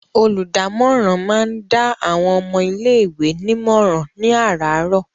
Olùdámọ̀ràn máa ń dá àwọn ọmọ ilé-ìwé nímọ̀ràn ní àràárọ̀.